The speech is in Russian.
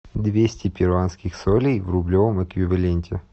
двести перуанских солей в рублевом эквиваленте